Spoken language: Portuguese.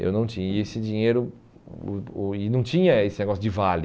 Eu não tinha esse dinheiro e não tinha esse negócio de vale.